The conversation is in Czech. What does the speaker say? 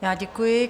Já děkuji.